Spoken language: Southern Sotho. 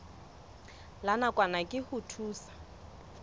la nakwana ke ho thusa